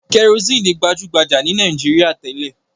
Kẹrosíínì gbajú-gbajà ní Nàìjíríà tẹ́lẹ̀.